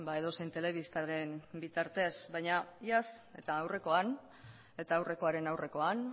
edozein telebistaren bitartez baina iaz eta aurrekoan eta aurrekoaren aurrekoan